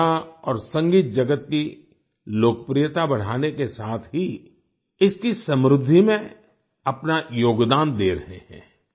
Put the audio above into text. ये कला और संगीत जगत की लोकप्रियता बढ़ाने के साथ ही इसकी समृद्धि में अपना योगदान दे रहे हैं